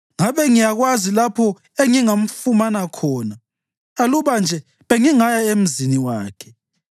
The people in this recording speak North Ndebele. Ngabe ngiyakwazi lapho engingamfumana khona; aluba nje bengingaya emzini wakhe!